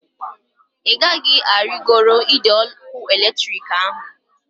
Ị gaghị arigoro ide ọkụ eletrik ahu!